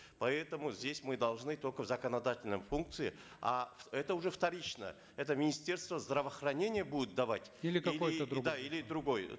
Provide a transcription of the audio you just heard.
поэтому здесь мы должны только в законодательной функции а это уже вторично это министерство здравоохранения будет давать или какой то другой да или другой э